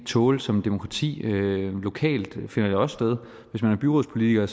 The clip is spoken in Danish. tåle som demokrati lokalt finder det også sted hvis man er byrådspolitiker har